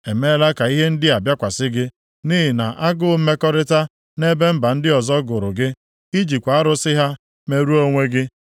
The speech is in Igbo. emeela ka ihe ndị a bịakwasị gị, nʼihi na agụụ mmekọrịta nʼebe mba ndị ọzọ gụrụ gị, ị jikwa arụsị ha merụọ onwe gị.